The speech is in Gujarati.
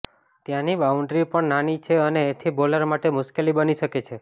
ત્યાંની બાઉન્ડરી પણ નાની છે અને એથી બોલર માટે મુશ્કેલી બની શકે છે